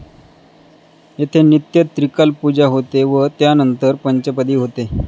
येथे नित्य त्रिकाल पूजा होते व त्यानंतर पंचपदी होते.